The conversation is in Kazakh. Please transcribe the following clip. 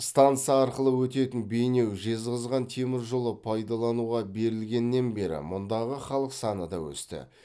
станса арқылы өтетін бейнеу жезқазған темір жолы пайдалануға берілгеннен бері мұндағы халық саны да өсті